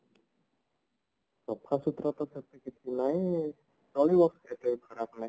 ସଫାସୁତୁରା ତ ସେମତି କିଛି ନାଇଁ ବସ ଏତେ ବି ଖରାପ ନାହିଁ